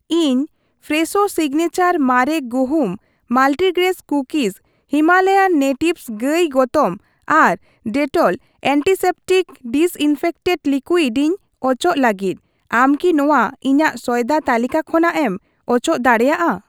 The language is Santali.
ᱤᱧ ᱯᱷᱨᱮᱥᱳ ᱥᱤᱜᱽᱱᱮᱪᱟᱨ ᱢᱟᱨᱮ ᱜᱩᱦᱩᱢ ᱢᱟᱞᱴᱤᱜᱨᱮᱡ ᱠᱩᱠᱤᱡ, ᱦᱤᱢᱟᱞᱚᱭᱟᱱ ᱱᱮᱴᱤᱵᱷᱥ ᱜᱟᱹᱭ ᱜᱚᱛᱚᱢ ᱟᱨ ᱰᱮᱴᱚᱞ ᱮᱱᱴᱤᱥᱮᱯᱴᱤᱠ ᱰᱤᱥᱤᱱᱯᱷᱮᱠᱴᱮᱱᱴ ᱞᱤᱠᱩᱣᱤᱰ ᱤᱧ ᱚᱪᱚᱜᱽ ᱞᱟᱹᱜᱤᱫ, ᱟᱢ ᱠᱤ ᱱᱚᱣᱟ ᱤᱧᱟᱹᱜ ᱥᱚᱭᱫᱟ ᱛᱟᱹᱞᱤᱠᱟ ᱠᱷᱚᱱᱟᱜ ᱮᱢ ᱚᱪᱚᱜ ᱫᱟᱲᱮᱭᱟᱜᱼᱟ ?